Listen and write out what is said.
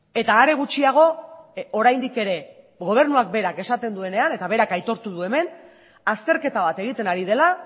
eta are gutxiago oraindik ere gobernua berak esaten duenean eta berak aitortu du hemen azterketa bat egiten ari dela